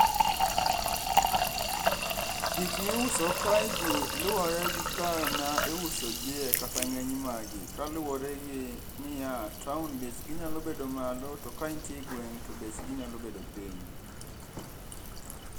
Gikmiuso kaegi luwore gi kar ma iusogie kata ng'eny magi. Kaluwore gi niya, taon bechgi nyalo bedo malo to kaintie e gweng' to bechgi nyalo bedo piny.